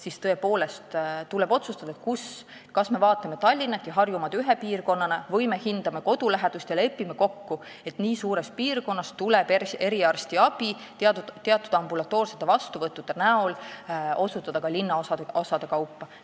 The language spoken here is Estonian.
Sellepärast tuleb tõepoolest otsustada, kas me vaatame Tallinna ja Harjumaad ühe piirkonnana või me hindame kodulähedust ja lepime kokku, et nii suures piirkonnas tuleb eriarstiabi teenust teatud ambulatoorsete vastuvõttudena osutada ka linnaosade kaupa.